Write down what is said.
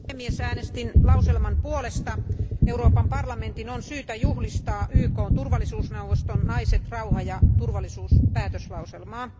Arvoisa puhemies, äänestin päätöslauselman puolesta. Euroopan parlamentin on syytä juhlistaa YKn turvallisuusneuvoston Naiset, rauha ja turvallisuus päätöslauselmaa.